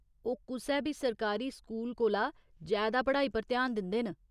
ओह् कुसै बी सरकारी स्कूल कोला जैदा पढ़ाई पर ध्यान दिंदे न।